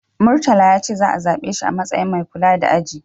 Murtala ya ce za'a zabe shi a matsayin mai kula da aji.